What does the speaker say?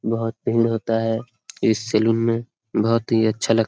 बहुत भीड़ होता है इस सेलून मे बहुत ही अच्छा लग--